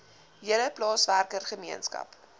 hele plaaswerker gemeenskap